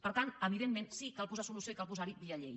per tant evidentment sí cal posar solució i cal posar la via llei